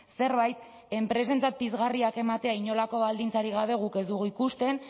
zerbait enpresentzat pizgarriak ematea inolako baldintzarik gabe guk ez dugu ikusten